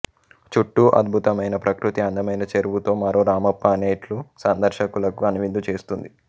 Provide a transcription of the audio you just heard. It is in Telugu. చుట్టూ అద్బుతమైన ప్రకృతి అందమైన చెరువుతో మరో రామప్ప అనేట్లు సందర్షకులకు కనువిందు చేస్తుంది